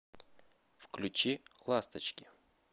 включи ласточки